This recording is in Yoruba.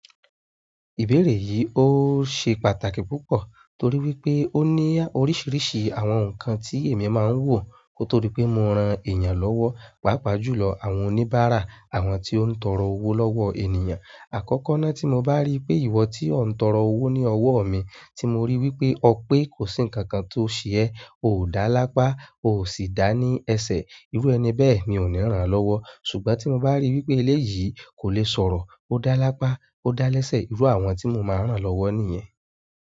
Ìbéèrè yìí ó ṣe pàtàkì púpọ̀ torí wípé ó ní oríṣiríṣi àwọn nǹkan tí èmi máa ń wò. Kótóri pé mo ran ẹ̀yàn lọ́wọ́, pàápàá jùlọ àwọn oníbàárà, àwọn tí ó ń tọrọ owó lọ́wọ́ ènìyàn. Àkọ́kọ́ náà tí mo bá rí pé ìwọ tí ó ń tọrọ owó ní ọwọ́ mi, tí mo rí wípé ọ pé kò sí nǹkan kan tó ṣe ẹ, o dá lápá, o sì dá ní ẹsẹ̀, irú ẹni bẹ́ẹ̀ mi ò ní ràn lọ́wọ́. Ṣùgbọ́n tí mo bá rí wípé eléyìí kò le sọ̀rọ̀, ó dá lápá, ó dá lẹ́sẹ̀, irú àwọn tí mo máa ń ràn lọ́wọ́ nìyẹn.